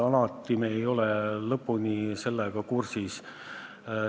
Me ei ole alati sellega lõpuni kursis.